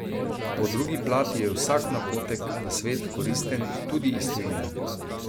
Po drugi plati je vsak napotek, nasvet koristen, tudi iz tujine.